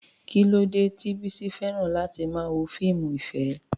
Kí ló dé tí Bisi fẹ́ràn láti máa wo fíìmù ìfẹ́?